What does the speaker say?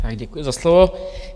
Tak děkuji za slovo.